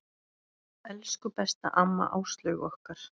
Elsku besta amma Áslaug okkar.